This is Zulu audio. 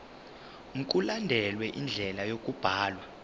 mkulandelwe indlela yokubhalwa